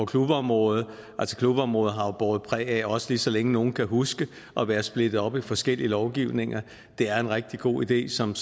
klubområdet altså klubområdet har jo båret præg af også lige så længe nogen kan huske at være splittet op i forskellige lovgivninger det er en rigtig god idé som